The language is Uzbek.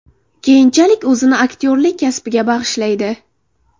Keyinchalik o‘zini aktyorlik kasbiga bag‘ishlaydi.